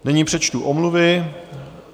Nyní přečtu omluvy.